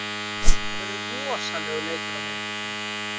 Það verður rosalegur leikur á miðvikudaginn.